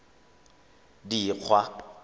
dikgwa